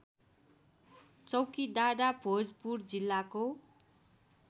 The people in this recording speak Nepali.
चौकीडाँडा भोजपुर जिल्लाको